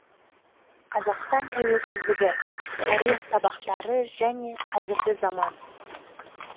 қазақстан тәуелсіздігі тарих сабақтары және қазіргі заман